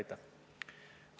Aitäh!